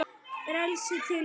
Frelsi til hvers?